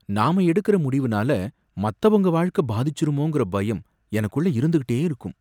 நாம எடுக்கற முடிவுனால மத்தவங்க வாழ்க்கை பாதிச்சிருமோங்கற பயம் எனக்குள்ள இருந்துகிட்டே இருக்கும்.